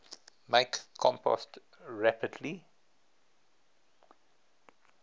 make compost rapidly